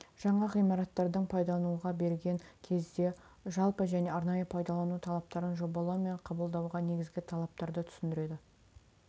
жаңа ғимараттардың пайдалануға берген кезде жалпы және арнайы пайдалану талаптарын жобалау мен қабылдауға негізгі талаптарды түсіндіреді